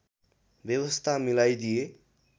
व्यवस्था मिलाइदिए